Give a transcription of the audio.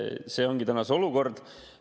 See ongi täna see olukord.